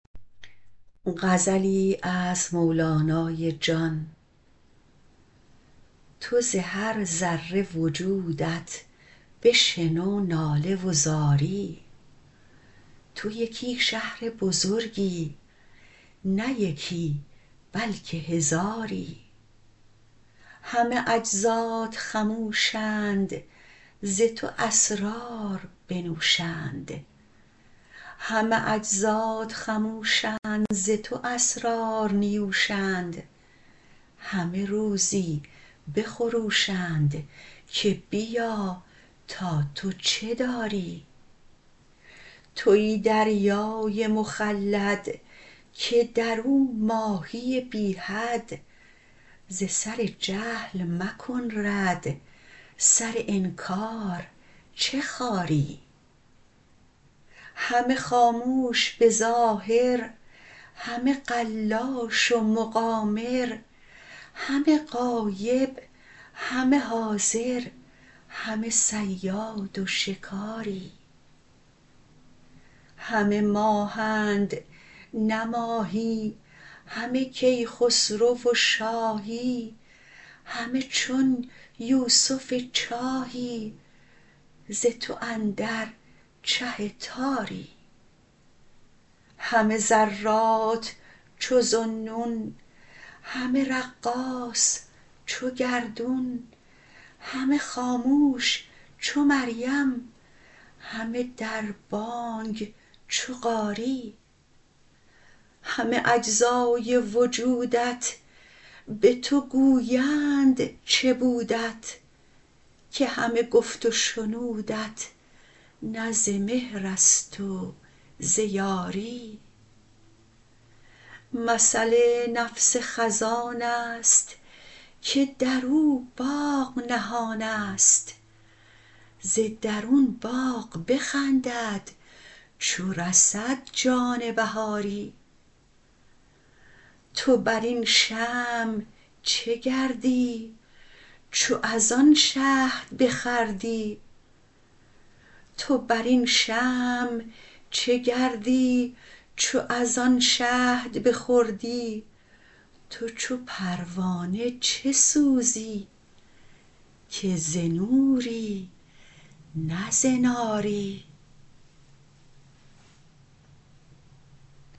تو ز هر ذره وجودت بشنو ناله و زاری تو یکی شهر بزرگی نه یکی بلکه هزاری همه اجزات خموشند ز تو اسرار نیوشند همه روزی بخروشند که بیا تا تو چه داری توی دریای مخلد که در او ماهی بی حد ز سر جهل مکن رد سر انکار چه خاری همه خاموش به ظاهر همه قلاش و مقامر همه غایب همه حاضر همه صیاد و شکاری همه ماهند نه ماهی همه کیخسرو و شاهی همه چون یوسف چاهی ز تو اندر چه تاری همه ذرات چو ذاالنون همه رقاص چو گردون همه خاموش چو مریم همه در بانگ چو قاری همه اجزای وجودت به تو گویند چه بودت که همه گفت و شنودت نه ز مهر است و ز یاری مثل نفس خزان است که در او باغ نهان است ز درون باغ بخندد چو رسد جان بهاری تو بر این شمع چه گردی چو از آن شهد بخوردی تو چو پروانه چه سوزی که ز نوری نه ز ناری